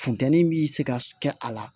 Funteni bi se ka kɛ a la